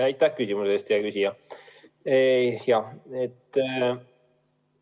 Aitäh küsimuse eest, hea küsija!